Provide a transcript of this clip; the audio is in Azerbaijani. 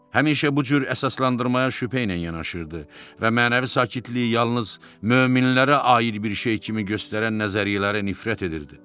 Həmişə bu cür əsaslandırmaya şübhə ilə yanaşırdı və mənəvi sakitliyi yalnız möminlərə aid bir şey kimi göstərən nəzəriyyələrə nifrət edirdi.